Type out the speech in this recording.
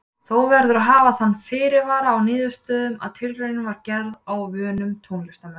Þó verður að hafa þann fyrirvara á niðurstöðunum að tilraunin var gerð á vönum tónlistarmönnum.